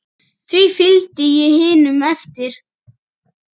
Því fylgdi ég hinum eftir.